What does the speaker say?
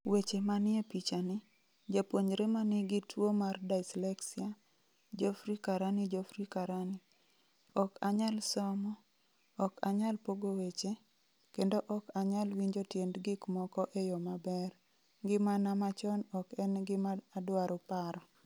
Weche manie pichani, Japuonjre ma nigi tuwo mar dyslexia, Geoffrey Karani Geoffrey Karani: 'Ok anyal somo, ok anyal pogo weche, kendo ok anyal winjo tiend gik moko e yo maber' Ngimana machon ok en gima adwaro paro.